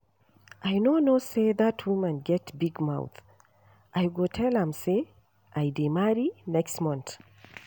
I no know say dat woman get big mouth I go tell am say I dey marry next month